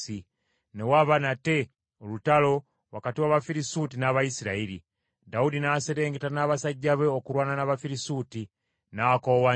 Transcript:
Ne waba nate olutalo wakati w’Abafirisuuti n’Abayisirayiri. Dawudi n’aserengeta n’abasajja be okulwana n’Abafirisuuti, n’akoowa nnyo.